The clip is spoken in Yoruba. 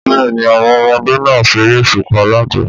Bẹ́ẹ̀ni, àwọn ọmọdé náà ṣeré òṣùpá lánàá